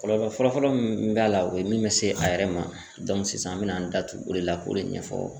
Kɔlɔlɔ fɔlɔfɔlɔ min b'a la o be min bɛ se a yɛrɛ ma sisan an bɛna an datu o de la k'o de ɲɛfɔ